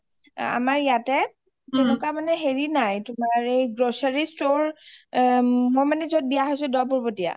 আমাৰ ইয়াতে তেনেকুৱা মানে হেৰি নই Grocery store মই মানে য’ত বিয়া হয়চো দহবুৰবতিয়া